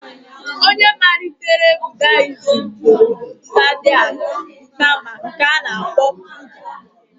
Ọnye malitere Budiizm bụ Sidhata Gaụtama nke a na-akpọ Budha.